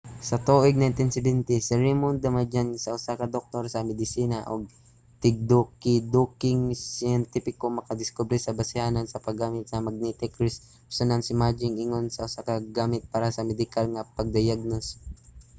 sa tuig 1970 si raymond damadian nga usa ka doktor sa medisina ug tigdukiduking siyentipiko nakadiskubre sa basihanan sa pag-gamit sa magnetic resonance imaging ingon usa ka gamit para sa medikal nga pagdayagnos